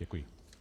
Děkuji.